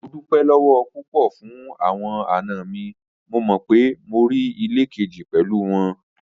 Mo dupẹ lọwọ pupọ fun awọn ana mi, mo mọ pe mo rii ile keji pẹlu wọn